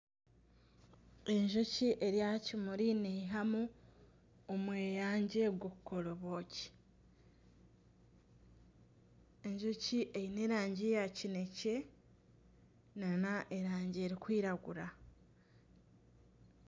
Enjoki eri aha kimuri neyihamu omweyangye ogwokukora obwoki ,enjoki eine erangi ya kinekye nana erangi erikwiragura .